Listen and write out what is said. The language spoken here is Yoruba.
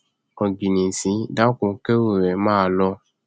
ọgìnìntìn dákun kẹrù rẹ máa lọ